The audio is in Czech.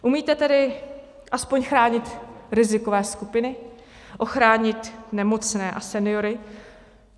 Umíte tedy aspoň chránit rizikové skupiny, ochránit nemocné a seniory?